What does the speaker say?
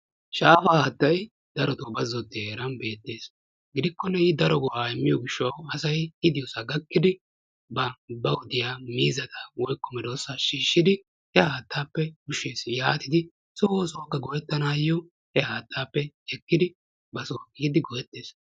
Shaafa haattay darotoo bazzottiya heeran beettees. Gidikkonne i daro go"aa immiyo gishshawu i diyosaa gakkidi bawu diya miizzata woykko medoossaa shiishshidi he haattaappe ushshees yaatidi so oosuwakka go"ettanaayo he haattaappe ekkidi ba soo ehiidi go"ettees.